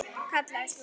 Kallaði svo: